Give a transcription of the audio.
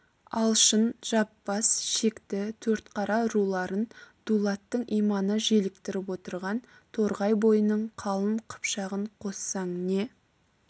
алшын жаппас шекті төртқара руларын дулаттың иманы желіктіріп отырған торғай бойының қалың қыпшағын қоссаң не